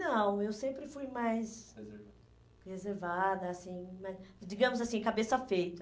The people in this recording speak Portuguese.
Não, eu sempre fui mais reservada, assim né, digamos assim, cabeça feita.